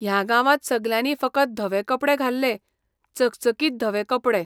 ह्या गांवांत सगल्यांनी फकत धवे कपडे घाल्ले, चकचकीतधवे कपडे.